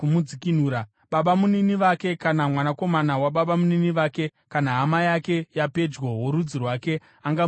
Babamunini vake kana mwanakomana wababamunini vake, kana hama yake yapedyo worudzi rwake angamudzikinura.